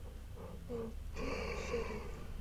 найти шериф